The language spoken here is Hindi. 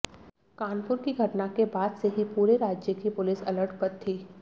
कानपुर की घटना के बाद से ही पूरे राज्य की पुलिस अलर्ट पर थी